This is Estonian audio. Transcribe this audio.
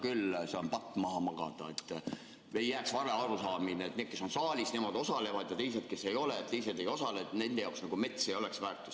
et ei jääks vale arusaamine, et need, kes on saalis, nemad osalevad, ja teised, kes ei ole, ei osale ja nende jaoks nagu mets ei oleks väärtus.